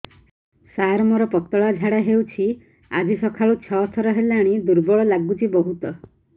ସାର ମୋର ପତଳା ଝାଡା ହେଉଛି ଆଜି ସକାଳୁ ଛଅ ଥର ହେଲାଣି ଦୁର୍ବଳ ଲାଗୁଚି ବହୁତ